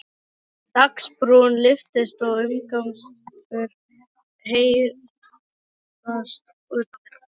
Dagsbrún lyftist og umgangur heyrðist utandyra.